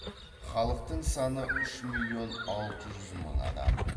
халықтың саны үш миллион алты жүз мың адам